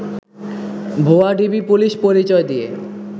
ভুয়া DB police পরিচয় দিয়ে